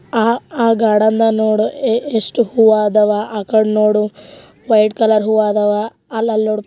ಆ ಆ ಗಾರ್ಡನ್ದಾ ಗ ನೋಡು ಎ ಎಷ್ಟು ಹೂವಾ ಅದಾವ. ಆಕಡ್ ನೋಡು ವೈಟ್ ಕಲರ್ ಹೂವಾ ಅದಾವಾ. ಅಲ್ಲಲ್ಲ ನೋಡು.